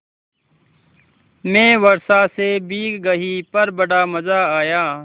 मैं वर्षा से भीग गई पर बड़ा मज़ा आया